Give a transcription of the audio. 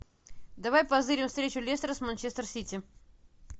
давай позырим встречу лестера с манчестер сити